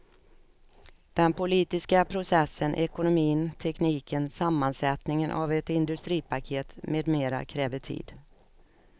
Den politiska processen, ekonomin, tekniken, sammansättningen av ett industripaket med mera kräver tid.